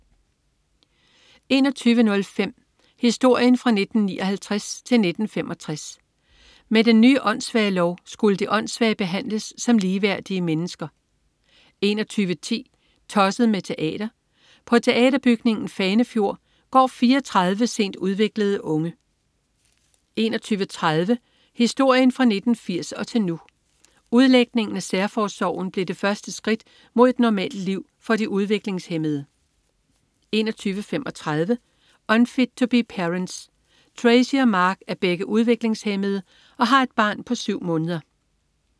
21.05 Historien fra 1959 til 1965. Med den nye åndssvagelov skulle de åndssvage behandles som ligeværdige mennesker 21.10 Tosset med teater. På Teaterbygningen Fanefjord går 34 sent udviklede unge 21.30 Historien fra 1980 og til nu. Udlægningen af Særforsorgen blev det første skridt mod et normalt liv for de udviklingshæmmede 21.35 Unfit To Be Parents. Tracy og Mark er begge udviklingshæmmede og har et barn på syv måneder